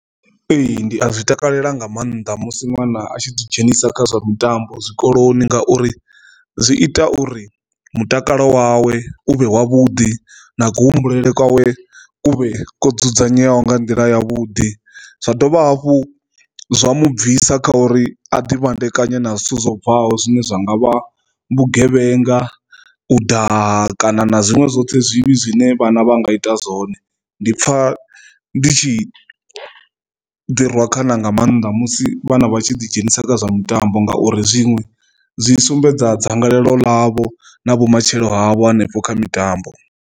Ee, ndi a zwi takalela nga maanḓa musi ṅwana a tshi dzi dzhenisa kha zwa mitambo zwikoloni ngauri zwi ita uri mutakalo wawe uvhe wavhuḓi na kuhumbulele kwawe kuvhe kwo dzudzanyeaho nga nḓila ya vhuḓi, zwa dovha hafhu zwa mu bvisa kha uri a ḓi fhandekanya na zwithu zwo bvaho zwine zwa nga vha vhugevhenga u ḓa kana na zwiṅwe zwoṱhe zwivhi zwine vhana vha nga ita zwone. Ndi pfa ndi tshi ḓi rwa khana nga maanḓa musi vhana vhatshi ḓi dzhenisa kha zwa mitambo ngauri zwiṅwe zwi sumbedza dzangalelo ḽavho na vhumatshelo havho hanefho kha mitambo.